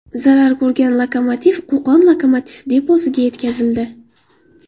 Zarar ko‘rgan lokomotiv Qo‘qon lokomotiv deposiga yetkazildi.